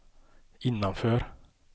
innanför